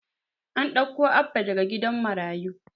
An ɗauko Abba daga gidan marayu.